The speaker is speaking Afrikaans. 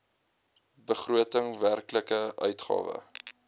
begroting werklike uitgawe